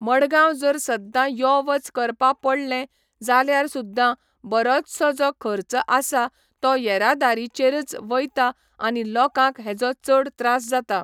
मडगांव जर सद्दां यो वच करपा पडलें जाल्यार सुद्दां बरोचसो जो खर्च आसा तो येरादारीचेरच वयता आनी लोकांक हेजो चड त्रास जाता